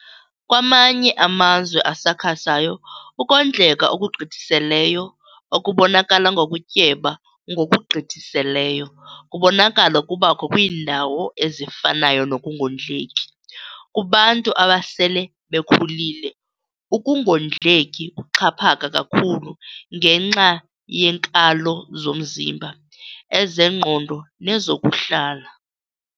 Kwamanye amazwe asakhasayo ukondleka okugqithiseleyo okubonakala ngokutyeba ngokugqithiseleyo kubonakala kubakho kwiindawo ezifanayo nokungondleki. Kubantu abasele bekhulile ukungondleki kuxhaphaka kakhulu ngenxa yeenkalo zomzimba, ezengqondo nezokuhlala.